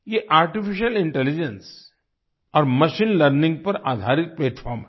ये artificial intelligence और machine learning पर आधारित प्लैटफार्म है